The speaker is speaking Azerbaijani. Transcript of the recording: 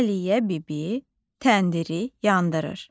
Aliyə bibi təndiri yandırır.